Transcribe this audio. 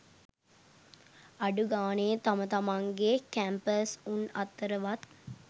අඩු ගානේ තම තමන්ගේ කැම්පස් උන් අතරවත්